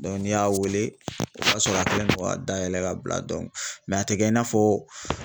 n'i y'a wele o b'a sɔrɔ a kɛlen don ka dayɛlɛ ka bila a tɛ kɛ i n'a fɔ